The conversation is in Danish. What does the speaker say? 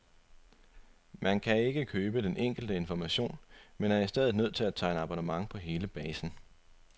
Man kan ikke købe den enkelte information, men er i stedet nødt til at tegne abonnement på hele basen.